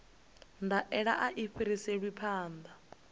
ndaela a i fhiriselwi phanḓa